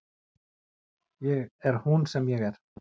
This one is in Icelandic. Ég er hún sem er ég.